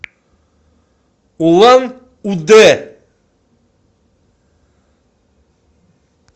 улан удэ